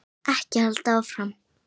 Ekki halda áfram.